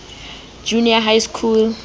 junior high school